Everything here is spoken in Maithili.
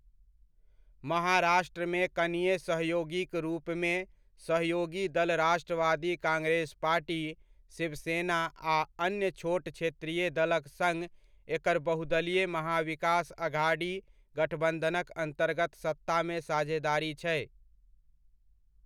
महाराष्ट्रमे कनीय सहयोगीक रूपमे सहयोगी दल राष्ट्रवादी कांग्रेस पार्टी, शिवसेना आ अन्य छोट क्षेत्रीय दलक सङ्ग एकर बहुदलीय महा विकास अघडी गठबन्धनक अन्तर्गत सत्तामे साझेदारी छै।